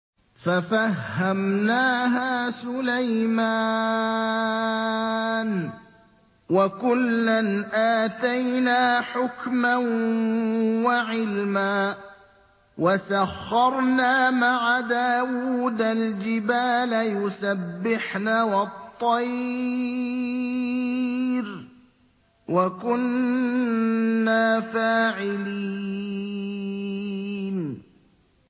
فَفَهَّمْنَاهَا سُلَيْمَانَ ۚ وَكُلًّا آتَيْنَا حُكْمًا وَعِلْمًا ۚ وَسَخَّرْنَا مَعَ دَاوُودَ الْجِبَالَ يُسَبِّحْنَ وَالطَّيْرَ ۚ وَكُنَّا فَاعِلِينَ